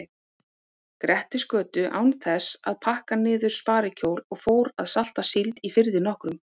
Grettisgötu án þess að pakka niður sparikjól og fór að salta síld í firði nokkrum.